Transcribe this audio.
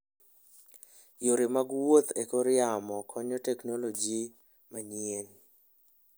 Yore mag wuoth e kor yamo konyo teknoloji manyien.